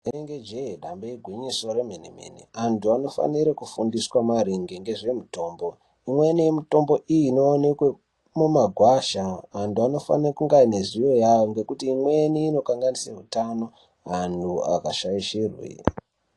Inenge jee dambe gwinyiso remene mene anthu anofanire kufundiswa maringe ngezvemutombo imweni yemutombo iyi inoonekwe mumagwasha anthu anofana kunge ane ziwo yayo ngekuti imweni inokanganise utano anthu akashaishirwe.